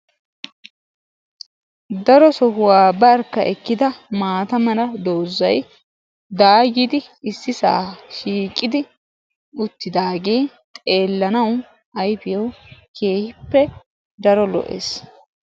Daro sohuwa barkka ekkida maata mala doozay daayyidi ississa shiiqidi uttidaage xeelanaw ayfiyaw keehippe daro lo"es.